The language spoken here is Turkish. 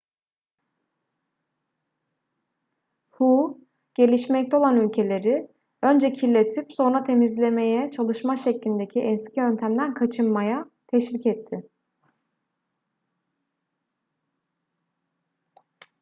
hu gelişmekte olan ülkeleri önce kirletip sonra temizlemeye çalışma şeklindeki eski yöntemden kaçınmaya teşvik etti